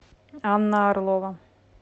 анна орлова